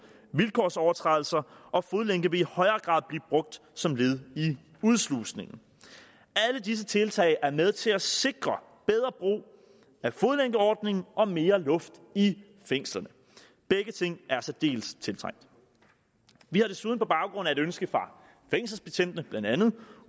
vilkårsovertrædelser og fodlænke vil i højere grad blive brugt som led i udslusningen alle disse tiltag er med til at sikre bedre brug af fodlænkeordningen og mere luft i fængslerne begge ting er særdeles tiltrængt vi har desuden på baggrund af et ønske fra fængselsbetjentene blandt andet